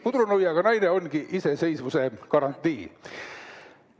Pudrunuiaga naine ongi iseseisvuse garantii.